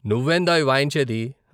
నువ్వేందోయ్ వాయించేది?